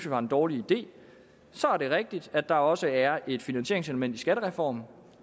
var en dårlig idé så er det rigtigt at der også er et finansieringselement i skattereformen